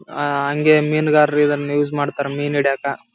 Boat rides ಬಂದು ಎಲ್ಲರಿಗೂ ಇಷ್ಟ.